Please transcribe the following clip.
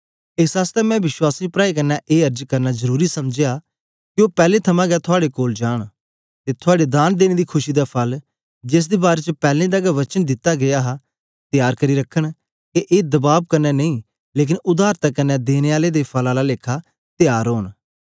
एस आसतै मैं विश्वासी प्राऐं कन्ने ए अर्ज करना जरुरी समझया के ओ पैलैं थमां गै थुआड़े कोल जांन ते थुआड़ी दान देने दी खुशी दा फल जेसदे बारै च पैलैं दा गै वचन दित्ता गीया हा त्यार करी रखन के ए दबाब कन्ने नेई लेकन उदारता क्न्ने देने दे फल आला लेखा त्यार ओन